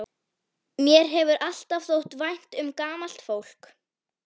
Mér hefur alltaf þótt vænt um gamalt fólk.